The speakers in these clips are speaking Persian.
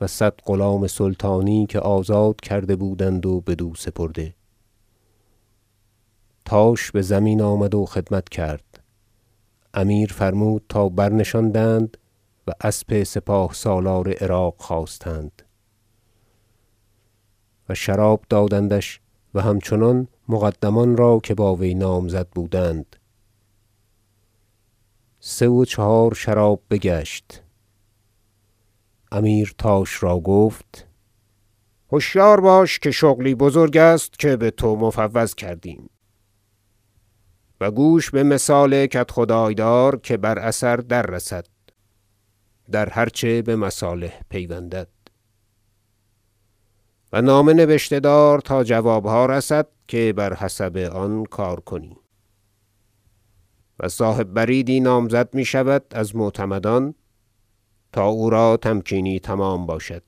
و صد غلام سلطانی که آزاد کرده بودند و بدو سپرده تاش بزمین آمد و خدمت کرد امیر فرمود تا برنشاندند و اسب سپاه سالار عراق خواستند و شراب دادندش و همچنان مقدمان را که با وی نامزد بودند سه و چهار شراب بگشت امیر تاش را گفت هشیار باش که شغلی بزرگ است که بتو مفوض کردیم و گوش بمثال کدخدای دار که بر اثر در رسد در هر چه بمصالح پیوندد و نامه نبشته دار تا جوابها رسد که بر حسب آن کار کنی و صاحب بریدی نامزد میشود از معتمدان تا او را تمکینی تمام باشد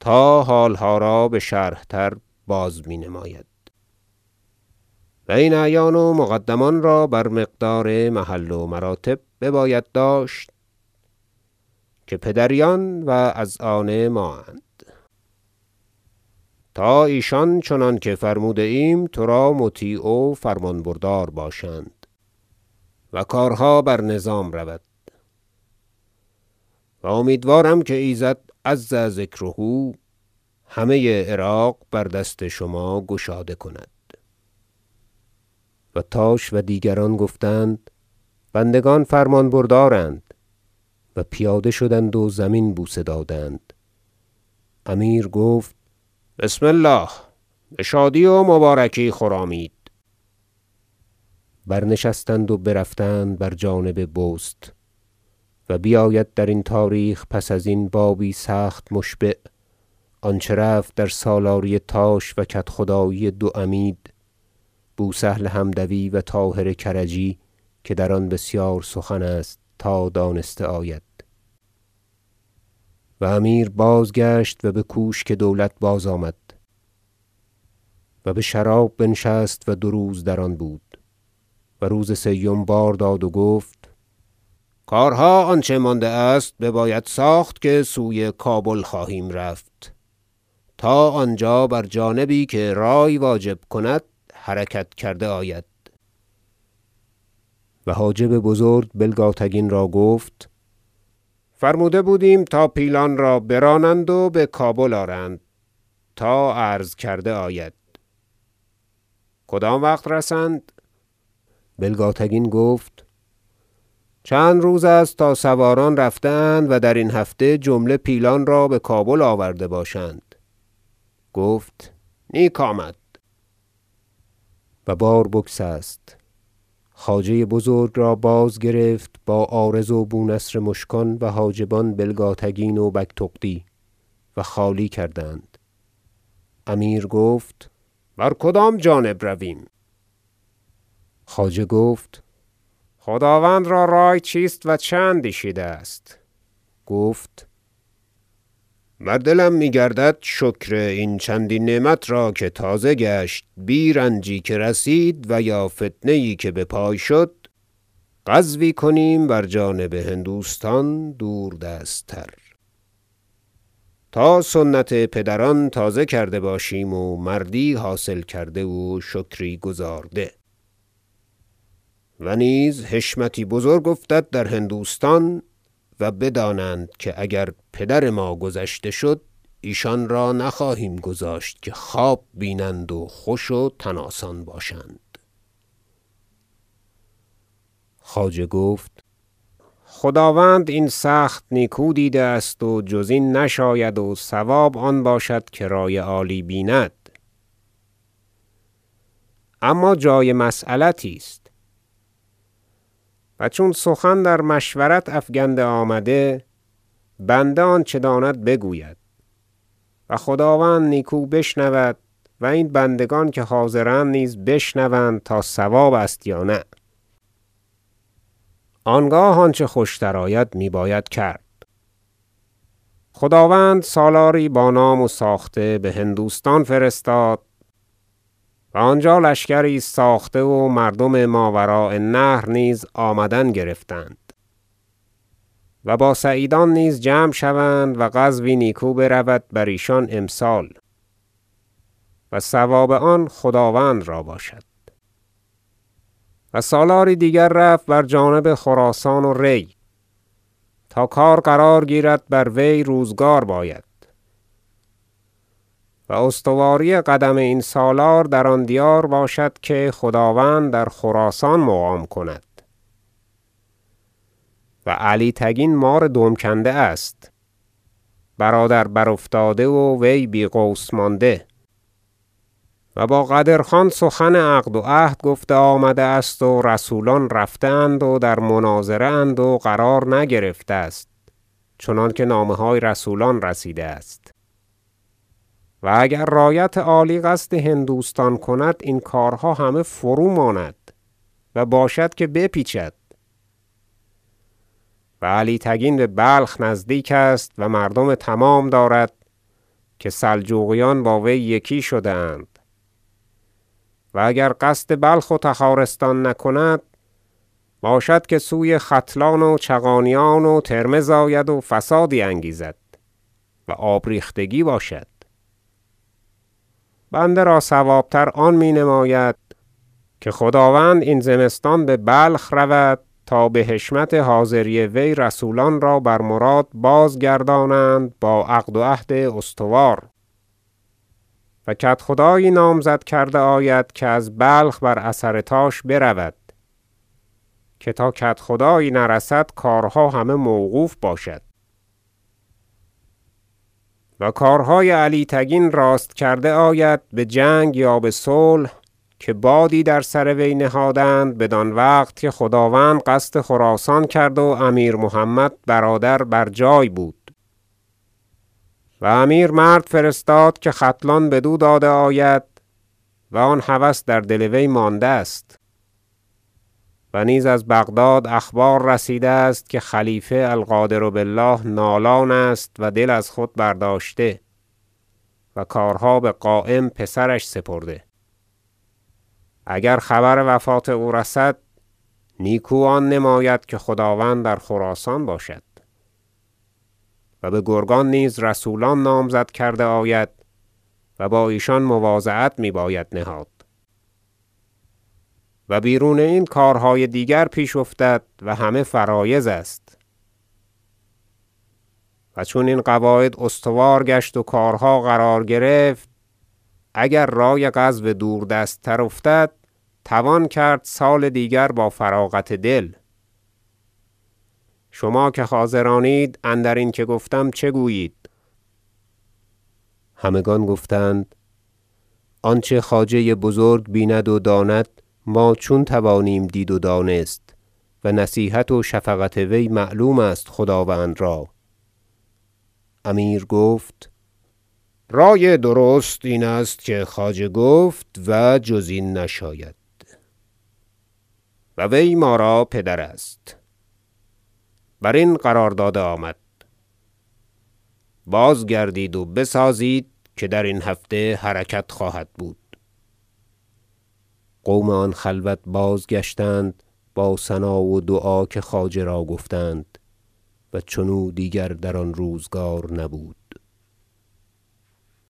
تا حالها را بشرح تر بازمی نماید و این اعیان و مقدمان را بر مقدار محل و مراتب بباید داشت که پدریان و از آن مااند تا ایشان چنانکه فرموده ایم ترا مطیع و فرمانبردار باشند و کارها بر نظام رود و امیدوارم که ایزد عز ذکره همه عراق بر دست شما گشاده کند و تاش و دیگران گفتند بندگان فرمان بردارند و پیاده شدند و زمین بوسه دادند امیر گفت بسم الله بشادی و مبارکی خرامید برنشستند و برفتند بر جانب بست و بیاید در تاریخ پس ازین بابی سخت مشبع آنچه رفت در سالاری تاش و کدخدایی دو عمید بوسهل حمدوی و طاهر کرجی که در آن بسیار سخن است تا دانسته آید مشاوره در باب حرکت امیر به هندوستان و امیر بازگشت و بکوشک دولت بازآمد و بشراب بنشست و دو روز در آن بود و روز سیم بار داد و گفت کارها آنچه مانده است بباید ساخت که سوی کابل خواهیم رفت تا آنجا بر جانبی که رأی واجب کند حرکت کرده آید و حاجب بزرگ بلگاتگین را گفت فرموده بودیم تا پیلان را برانند و بکابل آرند تا عرض کرده آید کدام وقت رسند بلگاتگین گفت چند روز است تا سواران رفته اند و درین هفته جمله پیلان را بکابل آورده باشند گفت نیک آمد و بار بگسست خواجه بزرگ را بازگرفت با عارض و بونصر مشکان و حاجبان بلگاتگین و بگتغدی و خالی کردند امیر گفت بر کدام جانب رویم خواجه گفت خداوند را رأی چیست و چه اندیشیده است گفت بر دلم می گردد شکر این چندین نعمت را که تازه گشت بی رنجی که رسید و یا فتنه یی که بپای شد غزوی کنیم بر جانب هندوستان دور دست تر تا سنت پدران تازه کرده باشیم و مردی حاصل کرده و شکری گزارده و نیز حشمتی بزرگ افتد در هندوستان و بدانند که اگر پدر ما گذشته شد ایشان را نخواهیم گذاشت که خواب بینند و خوش و تن آسان باشند خواجه گفت خداوند این سخت نیکو دیده است و جز این نشاید و صواب آن باشد که رأی عالی بیند اما جای مسیلتی است و چون سخن در مشورت افکنده آمد بنده آنچه داند بگوید و خداوند نیکو بشنود و این بندگان که حاضرند نیز بشنوند تا صواب است یا نه آنگاه آنچه خوشتر آید میباید کرد خداوند سالاری با نام و ساخته بهندوستان فرستاد و آنجا لشکری است ساخته و مردم ماوراء النهر نیز آمدن گرفتند و با سعیدان نیز جمع شوند و غزوی نیکو برود بر ایشان امسال و ثواب آن خداوند را باشد و سالاری دیگر رفت بر جانب خراسان و ری تا کار قرار گیرد بر وی روزگار باید و استواری قدم این سالار در آن دیار باشد که خداوند در خراسان مقام کند و علی تگین مار دم کنده است برادر برافتاده و وی بی غوث مانده و با قدر خان سخن عقد و عهد گفته آمده است و رسولان رفته اند و در مناظره اند و قرار نگرفته است چنانکه نامه های رسولان رسیده است و اگر رایت عالی قصد هندوستان کند این کارها همه فروماند و باشد که به پیچد و علی تگین ببلخ نزدیک است و مردم تمام دارد که سلجوقیان با وی یکی شده اند و اگر قصد بلخ و تخارستان نکند باشد که سوی ختلان و چغانیان و ترمذ آید و فسادی انگیزد و آب ریختگی باشد بنده را صواب تر آن می نماید که خداوند این زمستان ببلخ رود تا بحشمت حاضری وی رسولان را بر مراد بازگردانند با عقد و عهد استوار و کدخدایی نامزد کرده آید که از بلخ بر اثر تاش برود که تا کدخدایی نرسد کارها همه موقوف باشد و کارهای علی تگین راست کرده آید بجنگ یا بصلح که بادی در سر وی نهادند بدان وقت که خداوند قصد خراسان کرد و امیر محمد برادر بر جای بود و امیر مرد فرستاد که ختلان بدو داده آید و آن هوس در دل وی مانده است و نیز از بغداد اخبار رسیده است که خلیفه القادر بالله نالان است و دل از خود برداشته و کارها بقایم پسرش سپرده اگر خبر وفات او رسد نیکو آن نماید که خداوند در خراسان باشد و بگرگان نیز رسولان نامزد کرده آید و با ایشان مواضعت می باید نهاد و بیرون این کارهای دیگر پیش افتد و همه فرایض است و چون این قواعد استوار گشت و کارها قرار گرفت اگر رأی غزو دور دست تر افتد توان کرد سال دیگر با فراغت دل شما که حاضرانید اندرین که گفتم چه گویید همگان گفتند آنچه خواجه بزرگ بیند و داند ما چون توانیم دید و دانست و نصیحت و شفقت وی معلوم است خداوند را امیر گفت رأی درست این است که خواجه گفت و جز این نشاید و وی ما را پدر است برین قرار داده آمد بازگردید و بسازید که درین هفته حرکت خواهد بود قوم آن خلوت بازگشتند با ثنا و دعا که خواجه را گفتند و چنو دیگر در آن روزگار نبود